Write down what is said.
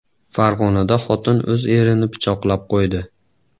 Farg‘onada xotin o‘z erini pichoqlab qo‘ydi.